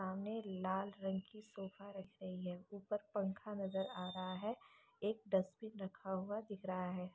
सामने लाल रंग की सोफा रखी हुई है ऊपर पंखा नज़र आ रहा है एक डस्ट्बिन रखा हुआ दिख रहा है।